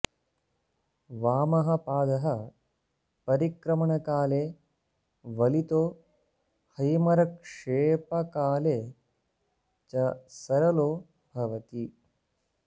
वामः पादः परिक्रमणकाले वलितो हैमरक्षेपकाले च सरलो भवति